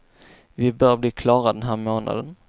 Vi bör bli klara den här månaden.